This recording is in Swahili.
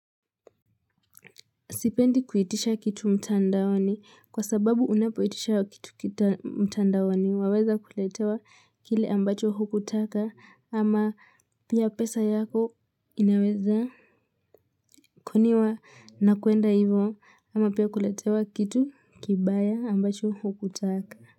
Sipendi kuitisha kitu mtandaoni kwa sababu unapoitisha kitu mtandaoni waweza kuletewa kile ambacho hukutaka ama pia pesa yako inaweza koniwa na kuenda hivyo ama pia kuletewa kitu kibaya ambacho hukutaka.